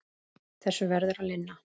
Þessu verður að linna.